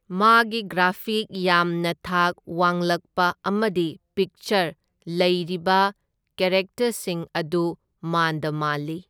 ꯃꯥꯒꯤ ꯒ꯭ꯔꯥꯐꯤꯛ ꯌꯥꯝꯅ ꯊꯥꯛ ꯋꯥꯡꯂꯛꯄ ꯑꯃꯗꯤ ꯄꯤꯛꯆꯔ, ꯂꯩꯔꯤꯕ ꯀꯦꯔꯦꯛꯇꯔꯁꯤꯡ ꯑꯗꯨ ꯃꯥꯟꯗ ꯃꯥꯟꯂꯤ꯫